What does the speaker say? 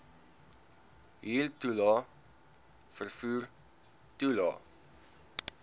huurtoelae vervoer toelae